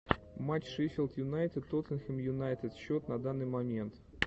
матч шеффилд юнайтед тоттенхэм юнайтед счет на данный момент